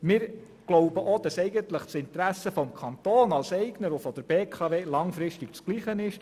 Wir glauben auch, dass die Interessen des Kantons als Eigner und jene der BKW langfristig die gleichen sind.